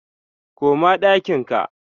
koma ɗakin ka!